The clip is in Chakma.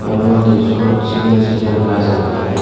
undi swot segan segan gush aagay.